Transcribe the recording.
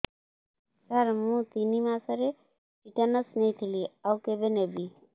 ସାର ମୁ ତିନି ମାସରେ ଟିଟାନସ ନେଇଥିଲି ଆଉ କେବେ ନେବି